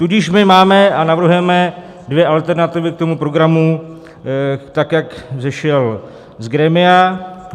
Tudíž my máme a navrhujeme dvě alternativy k tomu programu, tak jak vzešel z grémia.